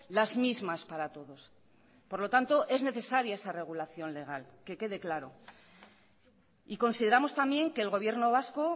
las mismas para todos por lo tanto es necesaria esa regulación legal que quede claro y consideramos también que el gobierno vasco